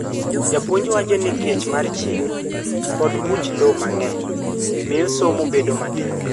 Jopuonj wacho ni kech mar chieng' koda buch lowo mang'eny, miyo somo bedo matek.